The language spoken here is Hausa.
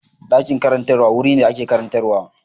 Ɗakin karantarwa wuri ne da ake karantarwa.